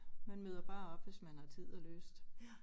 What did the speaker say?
Man møder bare op hvis man har tid og lyst